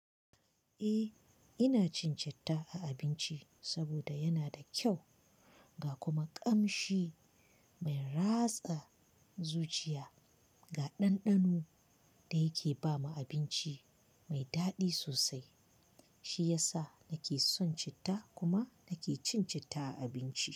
Eh ina cin citta a abinci saboda yana da kyau ga kuma kamshi mai ratsa zuciya ga ɗanɗano da yake bama abinci mai daɗi sosai. Shi ya sa nake son citta kuma nake cin citta a abinci.